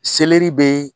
Selɛri bɛ